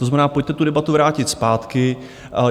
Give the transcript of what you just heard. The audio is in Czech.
To znamená, pojďte tu debatu vrátit zpátky.